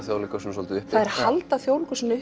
Þjóðleikhúsinu svolítið uppi þær halda Þjóðleikhúsinu